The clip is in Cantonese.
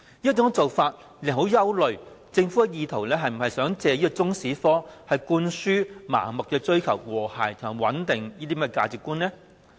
這種做法令人憂慮政府是否意圖藉中史科向學生灌輸盲目追求和諧、穩定的價值觀呢？